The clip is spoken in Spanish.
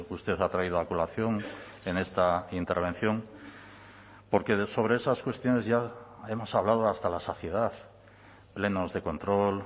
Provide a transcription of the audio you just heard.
usted ha traído a colación en esta intervención porque sobre esas cuestiones ya hemos hablado hasta la saciedad plenos de control